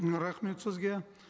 м рахмет сізге